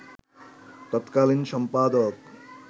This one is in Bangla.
তৎকালীন সম্পাদক